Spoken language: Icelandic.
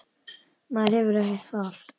Maður hefur ekkert val.